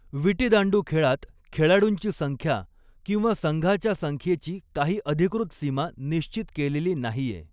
विटीदांडू खेळात खेळाडुंची संख्या किंवा संघाच्या संख्येची काही अधिकृत सीमा निश्चित केलेली नाहीये.